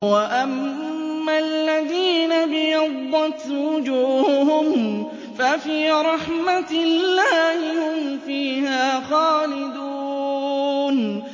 وَأَمَّا الَّذِينَ ابْيَضَّتْ وُجُوهُهُمْ فَفِي رَحْمَةِ اللَّهِ هُمْ فِيهَا خَالِدُونَ